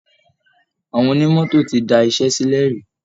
Àwọn onímọ́tò ti da iṣẹ́ sílẹ̀ rí